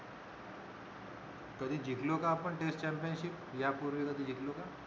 कधी जिंकलो का आपण test championship यापूर्वी कधी जिंकलोका